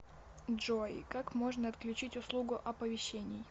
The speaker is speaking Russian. джой как можно отключить услугу оповещений